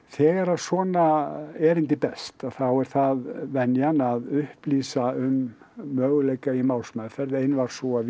þegar að svona erindi berst þá er það venjan að upplýsa um möguleika í málsmeðferð ein var sú að